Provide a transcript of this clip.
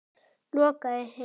Lokaðir inni?